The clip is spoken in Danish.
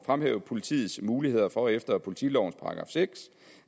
fremhæve politiets muligheder for efter politilovens § seks